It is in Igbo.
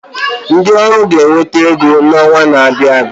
Ndi ọrụ ga-enweta ego n’ọnwa na-abịa abịa